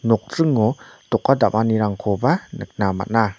nokdringo doka damanirangkoba nikna man·a.